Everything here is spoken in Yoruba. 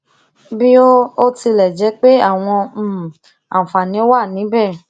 bí ó ó tilè jé pé àwọn um àǹfààní wà níbè